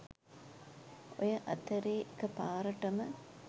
ඔය අතරේ එකපාරටම